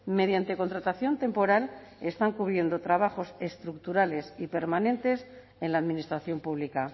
mediante contratación temporal están cubriendo trabajos estructurales y permanentes en la administración pública